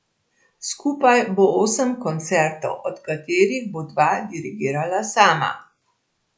Skupaj bo osem koncertov, od katerih bo dva dirigirala sama.